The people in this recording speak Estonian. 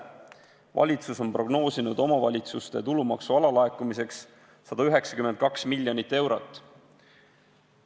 Valitsus on prognoosinud omavalitsuste tulumaksu alalaekumiseks 192 miljonit eurot.